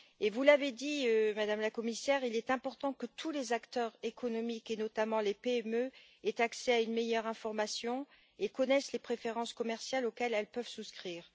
Vous l'avez dit, Madame la Commissaire, il est important que tous les acteurs économiques, et notamment les PME, aient accès à une meilleure information et connaissent les préférences commerciales auxquelles elles peuvent souscrire.